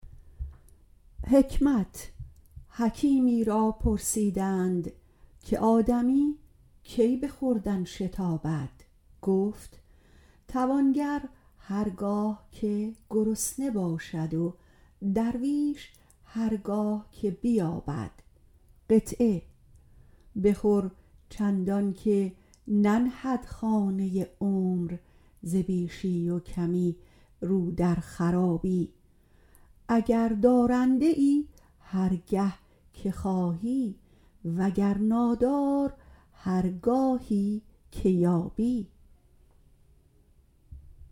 حکیمی را پرسیدند که آدمیزاد کی به خوردن شتابد گفت توانگر هرگاه گرسنه شود و درویش هرگاه که بیابد بخور چندانکه ننهد خانه تن ز بیشی و کمی رو در خرابی اگر دارنده ای هرگاه خواهی و گر نادار هرگاهی که یابی